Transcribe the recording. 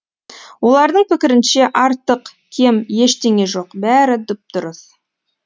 олардың пікірінше артық кем ештеңе жоқ бәрі дұп дұрыс